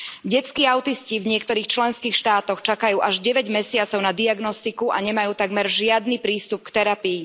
Detskí autisti v niektorých členských štátoch čakajú až deväť mesiacov na diagnostiku a nemajú takmer žiadny prístup k terapii.